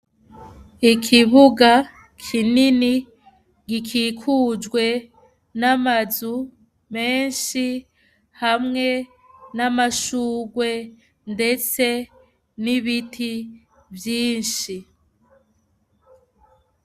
Ikibuga kinini gikikujwe n'amazu menshi hamwe n'amashurwe, ndetse n'ibiti vyinshi.